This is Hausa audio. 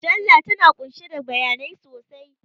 Mujalla tana ƙunshe da bayanai sosai